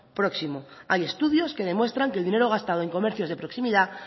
próximo hay estudios que demuestran que el dinero gastado en comercios de proximidad